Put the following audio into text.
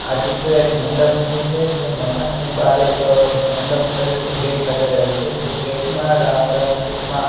આ ચિત્ર એક મંડપનું છે જે મકાનની બહાર એક અ મંડપ તરીકે ગેટ લગાડેલુ છે જે ગેટ માં રાઉન્ડ રાઉન્ડ શેપ માં--